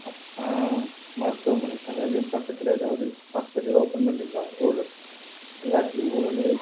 அஹ் மருத்துவமனை அதாவது இங்க பக்கத்துல ஏதாவது hospital open பண்றீங்களா ஊழல் எல்லாத்துலயும் ஊழல்